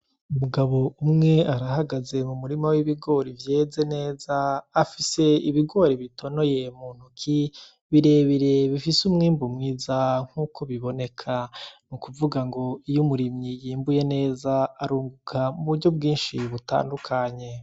Umugabo umwe arahagaze mubigori vyeze neza, afis' ibigori bitonoye mu ntoki birebire bifis'umwimbu mwiza nkuko biboneka ,n'ukuvuga ngo iy'umurimyi yimbuye neza arunguka muburyo bwinshi butandukanye.